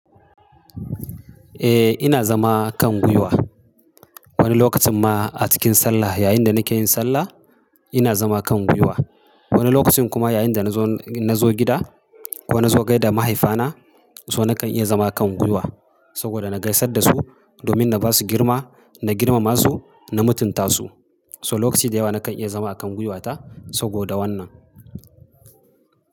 Eh ina zama kan gwiwa. Wani lokacin ma a cikin sallah yayin da nake yin sallah ina zama kan gwiwa. Wani lokacin kuma yayin da na zo gida ko na zo gaida mahaifana, so nakan iya zama kan gwiwa saboda na gaisar da su domin na ba su girma, na girmama su na mutunta su. So lokaci da yawa nakan iya zama a kan gwiwata saboda wannan.